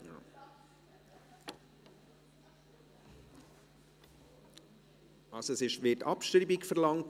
Beim Traktandum 77 wird also Abschreibung verlangt.